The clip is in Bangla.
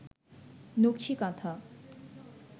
নকশি কাঁথা